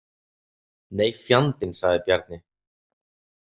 Nei, fjandinn, sagði Bjarni.